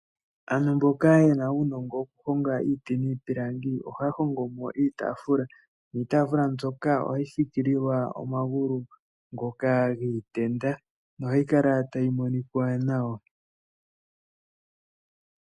Aangu mboka yena uunongo wokuhonga iiti niipilangi ohaya hongomo iitafula, niitafula mbyoka ohayi fikililwa omagulu ngoka giitenda, nohayi kala tayi monikwa nawa.